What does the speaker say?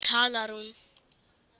Núna talar hún.